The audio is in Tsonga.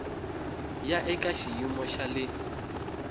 ya eka xiyimo xa le